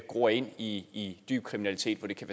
gror ind i dyb kriminalitet hvor det kan